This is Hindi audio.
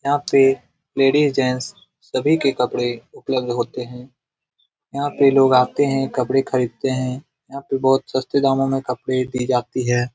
यहाँ पे लेडिस जेन्ट्स सभी के कपड़े उपलब्ध होते है । यहाँ पे लोग आते है। कपड़े खरीदते है । यहाँ पे बोहोत ही सस्ते दामों मे कपड़े दी जाती है ।